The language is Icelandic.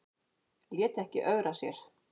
Lét ekki ögra sér